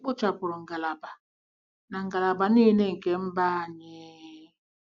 E kpochapụrụ ngalaba na ngalaba niile nke mba anyị....